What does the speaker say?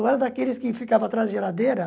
Eu era daqueles que ficava atrás da geladeira.